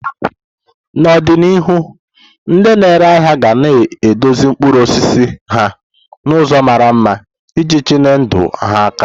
N'ọdịnihu, ndị na-ere ahịa ga na edozi mkpụrụ osisi ha n'ụzọ mara mma iji tinye ndị ahịa aka.